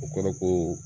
O kɔrɔ ko